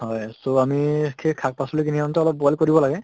হয় so আমি সেই শাক পাচলী খিনি অলপ boil কৰিব লাগে